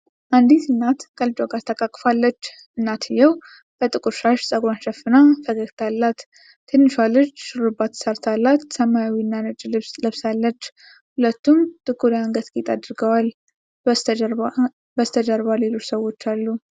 አንዲት እናት ከልጇ ጋር ተቃቅፋለች። እናትየው በጥቁር ሻሽ ፀጉሯን ሸፍና ፈገግታ አላት። ትንሿ ልጅ ሹሩባ ተሠርታላት ሰማያዊና ነጭ ልብስ ለብሳለች። ሁለቱም ጥቁር የአንገት ጌጥ አድርገዋል። በስተጀርባ ሌሎች ሰዎች አሉ።